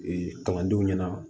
kalandenw ɲɛna